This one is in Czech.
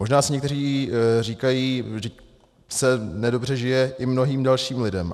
Možná si někteří říkají: vždyť se nedobře žije i mnohým dalším lidem.